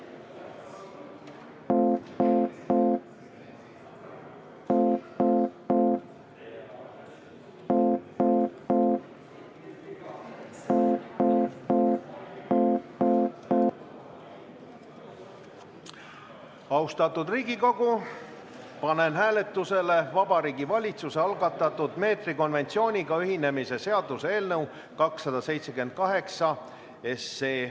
Austatud Riigikogu, panen hääletusele Vabariigi Valitsuse algatatud meetrikonventsiooniga ühinemise seaduse eelnõu 278.